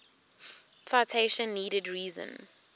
citation needed reason